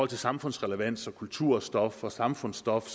til samfundsrelevans kulturstof og samfundsstof